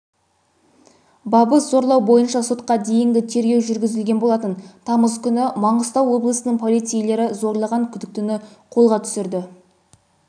бабы зорлау бойынша сотқа дейінгі тергеу жүргізілген болатын тамыз күні маңғыстау облысының полицейлері зорлаған күдіктіні қолға